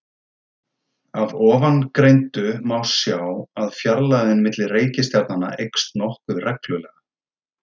Af ofangreindu má sjá að fjarlægðin milli reikistjarnanna eykst nokkuð reglulega.